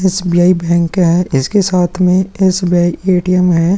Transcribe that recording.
SBI. Bank है इसके साथ में एस.बी.आई. ए.टी.एम. भी है।